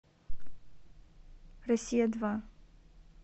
россия два